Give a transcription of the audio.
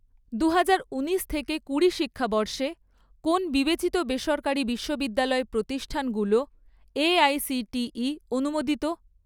দুহাজার ঊনিশ থেকে কুড়ি শিক্ষাবর্ষে, কোন বিবেচিত বেসরকারি বিশ্ববিদ্যালয় প্রতিষ্ঠানগুলো এআইসিটিই অনুমোদিত?